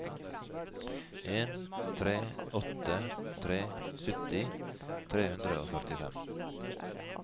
en tre åtte tre sytti tre hundre og førtifem